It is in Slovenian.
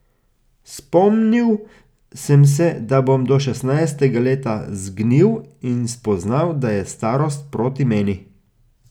Spomnil sem se, da bom do šestnajstega leta zgnil, in spoznal, da je starost proti meni.